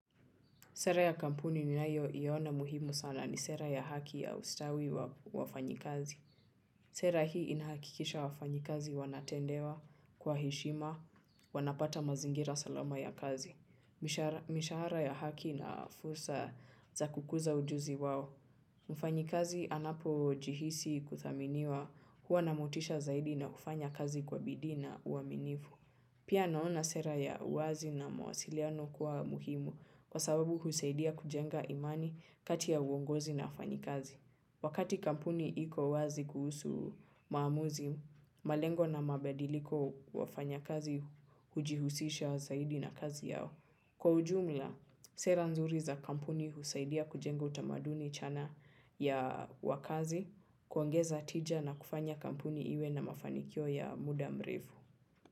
Sera ya kampuni ninayoiona muhimu sana ni sera ya haki ya ustawi wa wafanyi kazi. Sera hii inahakikisha wafanyi kazi wanatendewa kwa heshima, wanapata mazingira salama ya kazi. Mishahara ya haki na fursa za kukuza ujuzi wao. Mfanyikazi anapo jihisi kuthaminiwa huwa na motisha zaidi na kufanya kazi kwa bidii na uaminifu. Pia naona sera ya uwazi na mawasiliano kuwa muhimu kwa sababu husaidia kujenga imani kati ya uongozi na wafanyikazi. Wakati kampuni iko wazi kuhusu maamuzi, malengo na mabadiliko wafanyakazi hujihusisha zaidi na kazi yao. Kwa ujumla, sera nzuri za kampuni husaidia kujenga utamaduni chana ya wakazi, kuongeza tija na kufanya kampuni iwe na mafanikio ya muda mrefu.